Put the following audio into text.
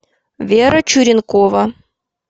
вера чуренкова